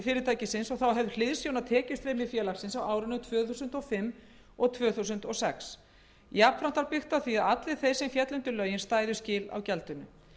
fyrirtækisins og þá höfð hliðsjón af tekjustreymi félagsins á árunum tvö þúsund og fimm og tvö þúsund og sex jafnframt var byggt á því að allir sem féllu undir lögin stæðu skil á gjaldinu